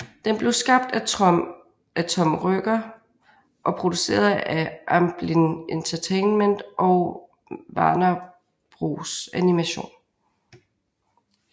Den blev skabt af Tom Ruegger og produceret af Amblin Entertainment og Warner Bros Animation